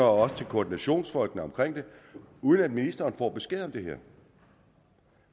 også til koordinationsfolkene omkring det uden at ministeren får besked om det her